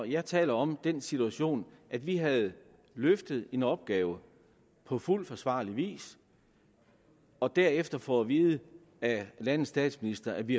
jeg taler om den situation at vi havde løftet en opgave på fuld forsvarlig vis og derefter får at vide af landets statsminister at vi